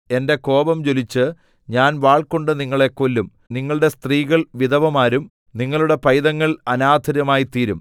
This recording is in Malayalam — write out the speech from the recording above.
എന്റെ കോപം ജ്വലിച്ച് ഞാൻ വാൾകൊണ്ട് നിങ്ങളെ കൊല്ലും നിങ്ങളുടെ സ്ത്രീകൾ വിധവമാരും നിങ്ങളുടെ പൈതങ്ങൾ അനാഥരുമായിത്തീരും